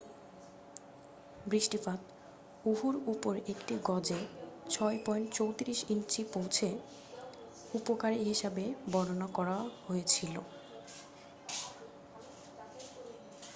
"""বৃষ্টিপাত ওহুর উপর একটি গজে 6.34 ইঞ্চি পৌঁছে," "উপকারী" হিসাবে বর্ণনাকরা হয়েছিল। "